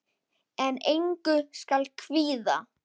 En engu skal kvíða.